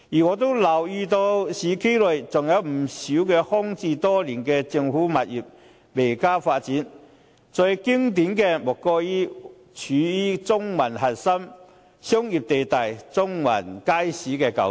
我也留意到市區內仍有不少空置多年的政府物業未獲發展，最經典的莫過於位處中環核心商業地帶的中環街市舊址。